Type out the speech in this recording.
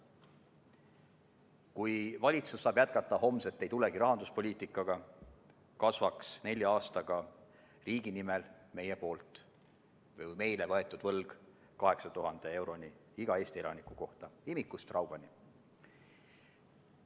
Kui valitsus saab jätkata homset-ei-tulegi-rahanduspoliitikaga, kasvab nelja aastaga riigi nimel võetav võlg 8000 euroni iga Eesti elaniku kohta, imikust raugani.